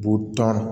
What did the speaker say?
Butɔn